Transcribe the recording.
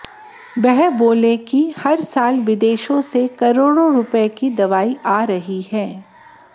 वह बोले कि हर साल विदेशों से करोड़ों रुपयों की दवाएं आ रही हैं